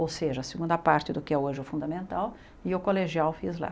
Ou seja, a segunda parte do que é hoje o fundamental, e o colegial fiz lá.